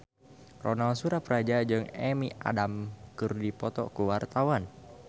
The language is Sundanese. Ronal Surapradja jeung Amy Adams keur dipoto ku wartawan